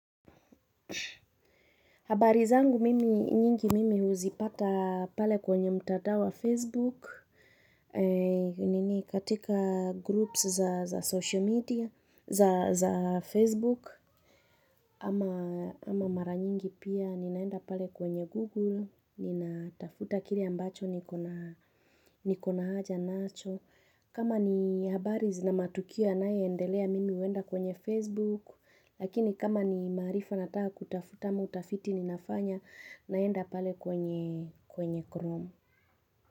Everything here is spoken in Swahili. Habari zangu mimi nyingi mimi uzipata pale kwenye madam wa Facebook nini katika groups za zasocial media za za Facebook ama mara nyingi pia ninaenda pale kwenye Google nina tafuta kile ambacho nikona nikona haja nacho. Kama ni habari zina matukio yanayoendelea mimi huenda kwenye Facebook, lakini kama ni maarifa nataka kutafuta ama utafiti ninafanya naenda pale kwenye Chrome.